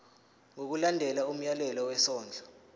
ngokulandela umyalelo wesondlo